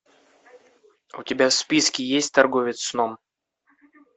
у тебя в списке есть торговец сном